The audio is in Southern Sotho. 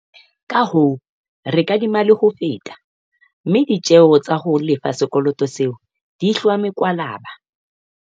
Kahoo, re kadima le ho feta, mme ditjeo tsa ho lefa sekoloto seo di hlwa mekwalaba.